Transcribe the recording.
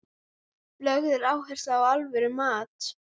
Samt var það aldrei meiningin að valda þér sárindum.